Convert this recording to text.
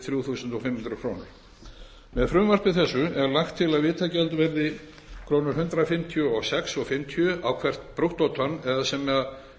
þrjú þúsund og fimm hundruð krónur með frumvarpi þessu er lagt til að vitagjald verði hundrað fimmtíu og sex komma fimmtíu krónur á hvert brúttótonn